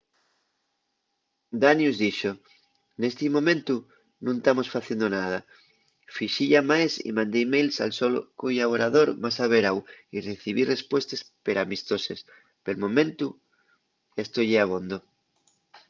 danius dixo nesti momentu nun tamos faciendo nada. fixi llamaes y mandé emails al so collaborador más averáu y recibí respuestes peramistoses. pel momentu esto ye abondo